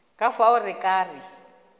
ka fao re ka re